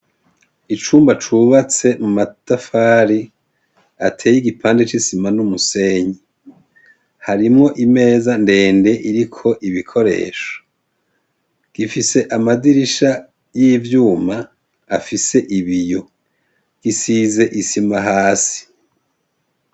Icumba cubatse mu matafari ateye igipande c'isima n'umusenyi. Harimwo imeza ndende iriko ibikoresho. Gifise amadirisha y'ivyuma afise ibiyo. Gisize isima hasi.